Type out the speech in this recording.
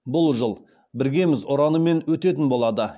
бұл жыл біргеміз ұранымен өтетін болады